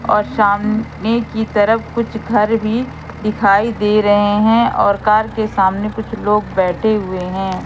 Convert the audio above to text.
और सामने की तरफ कुछ घर भी दिखाई दे रहे हैं और घर के सामने कुछ लोग बैठे हुए हैं।